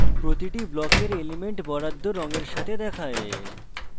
প্রতিটি ব্লকের elements বরাদ্দ রঙের সাথে দেখায়